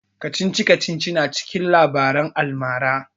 Kacici-kacici na cikin labaran almara